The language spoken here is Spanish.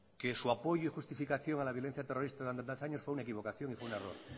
que su apoyo y justificación a la violencia terrorista durante tantos años fue una equivocación y fue un error